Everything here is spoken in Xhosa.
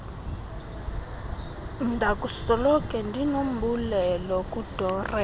ndakusoloko ndinombulelo kudoreen